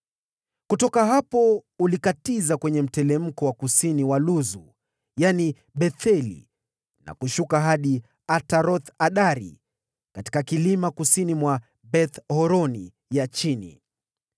Kutoka hapo ulikatiza kwenye mteremko wa kusini mwa Luzu (yaani Betheli) na kushuka hadi Ataroth-Adari katika kilima kusini mwa Beth-Horoni ya Chini.